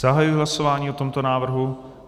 Zahajuji hlasování o tomto návrhu.